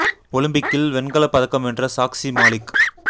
ஒலிம்பிக்கில் வெண்கல பதக்கம் வென்ற சாக்சி மாலிக்